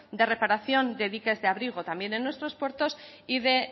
de reparación de diques de abrigo también en nuestros puertos y de